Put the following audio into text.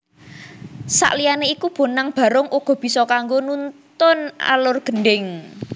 Sakliyané iku Bonang Barung uga bisa kanggo nuntun alur Gendhing